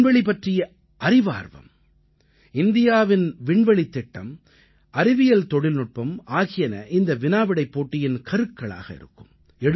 விண்வெளி பற்றிய அறிவார்வம் இந்தியாவின் விண்வெளித் திட்டம் அறிவியல் தொழில்நுட்பம் ஆகியன இந்த வினாவிடைப் போட்டியின் கருக்களாக இருக்கும்